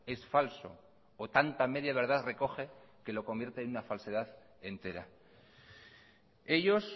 es falso o tanta media verdad recoge que lo convierte en una falsedad entera ellos